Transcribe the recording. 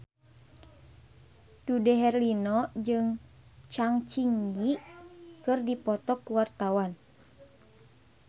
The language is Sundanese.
Dude Herlino jeung Zang Zi Yi keur dipoto ku wartawan